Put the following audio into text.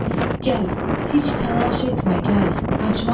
Gəl, heç təlaş etmə, gəl, qaçmaq gərək.